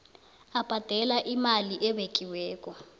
abhadale imali ebekiweko